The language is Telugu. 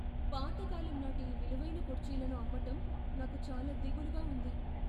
పాత కాలం నాటి ఈ విలువైన కుర్చీలను అమ్మటం నాకు చాలా దిగులుగా ఉంది.